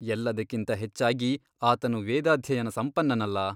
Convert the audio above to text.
ಎಲ್ಲದಕ್ಕಿಂತ ಹೆಚ್ಚಾಗಿ ಆತನು ವೇದಾಧ್ಯಯನ ಸಂಪನ್ನನಲ್ಲ?